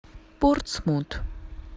портсмут